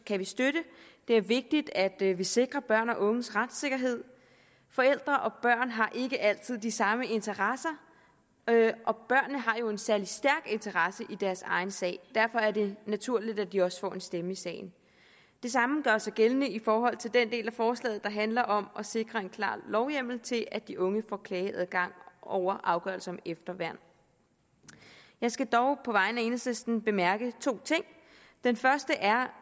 kan vi støtte det er vigtigt at vi vi sikrer børn og unges retssikkerhed forældre og børn har ikke altid de samme interesser og børnene har jo en særlig stærk interesse i deres egen sag derfor er det naturligt at de også får en stemme i sagen det samme gør sig gældende i forhold til den del af forslaget der handler om at sikre en klar lovhjemmel til at de unge får klageadgang over afgørelser om efterværn jeg skal dog på vegne af enhedslisten bemærke to ting den første er